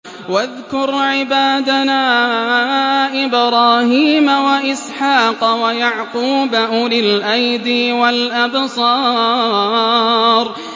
وَاذْكُرْ عِبَادَنَا إِبْرَاهِيمَ وَإِسْحَاقَ وَيَعْقُوبَ أُولِي الْأَيْدِي وَالْأَبْصَارِ